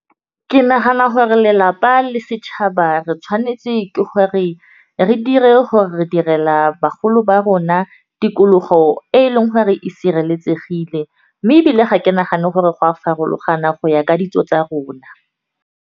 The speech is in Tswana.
Ke nagana hore lelapa le setšhaba re tshwanetse ke gore re dire hore re direla bagolo ba rona tikologo e e leng gore re e sireletsegile, mme ebile ga ke nagane gore go a farologana go ya ka ditso tsa rona.